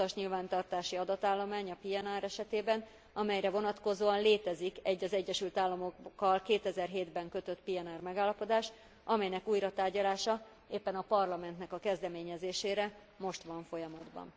az utasnyilvántartási adatállomány, a PNR esetében, amelyre vonatkozóan létezik egy, az Egyesült Államokkal 2007 ben kötött PNR megállapodás, amelynek újratárgyalása, éppen a Parlamentnek a kezdeményezésére, most van folyamatban.